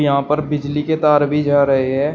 यहां पर बिजली के तार भी जा रहे हैं।